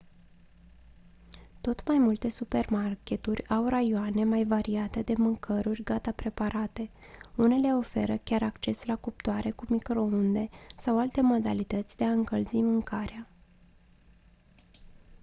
tot mai multe supermarketuri au raioane mai variate de mâncăruri gata preparate unele oferă chiar acces la cuptoare cu microunde sau alte modalități de a încălzi mâncarea